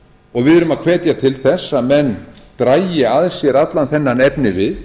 og við erum að hvetja til þess að menn dragi að sér allan þennan efnivið